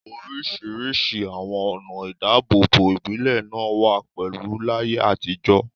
Oríṣiríṣi àwọn ọ̀nà ìdáàbòbò ìbílẹ̀ náà wà pẹ̀lú láyé àtijọ́.